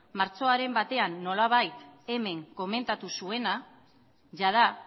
martxoaren batean nolabait hemen komentatu zuena jada